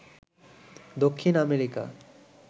Dakshin America